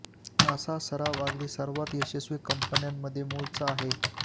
अशा सराव अगदी सर्वात यशस्वी कंपन्या मध्ये मूळचा आहे